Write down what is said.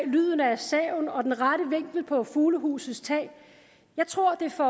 lyden af saven og den rette vinkel på fuglehusets tag jeg tror at det får